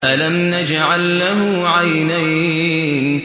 أَلَمْ نَجْعَل لَّهُ عَيْنَيْنِ